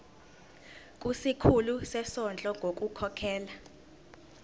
kusikhulu sezondlo ngokukhokhela